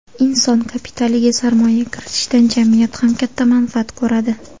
Inson kapitaliga sarmoya kiritishdan jamiyat ham katta manfaat ko‘radi.